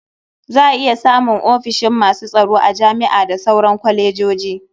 Za a iya samun ofishin masu tsaro a jami'a da sauran kwalejoji.